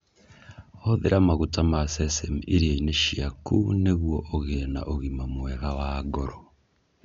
Hũthĩra maguta ma sesame irio-inĩ ciaku nĩguo ũgĩe na ũgima mwega wa ngoro.